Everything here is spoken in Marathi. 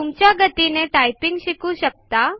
तुमच्या गतीने टायपिंग शिकू शकता